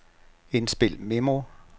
indspil memo